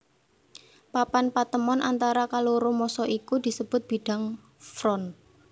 Papan patemon antara kaloro massa iku disebut bidang front